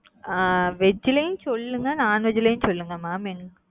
அ veg லயும் சொல்லுங்க non veg லயும் சொல்லுங்க mam.